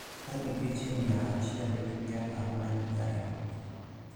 Ka nigi ji mia achiel gi pier ang`wen gariyo